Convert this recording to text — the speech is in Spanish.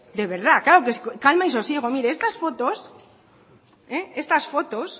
de verdad claro calma y sosiego mire estas fotos estas fotos